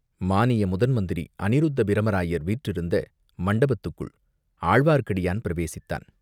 மானிய முதன் மந்திரி அநிருத்தப் பிரம்மராயர் வீற்றிருந்த மண்டபத்துக்குள் ஆழ்வார்க்கடியான் பிரவேசித்தான்.